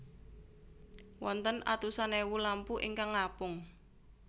Wonten atusan èwu lampu ingkang ngapung